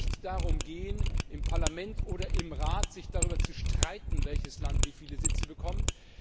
Aber es kann nicht darum gehen, sich im Parlament oder im Rat darüber zu streiten, welches Land wie viele Sitze bekommt.